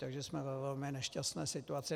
Takže jsme ve velmi nešťastné situaci.